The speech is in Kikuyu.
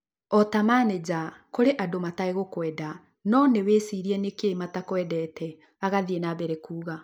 Ota manĩja kũrĩ andũ matagũkũenda no nĩwĩcirie nĩkĩĩ matakwendete; agathiĩ na mbere na kuuga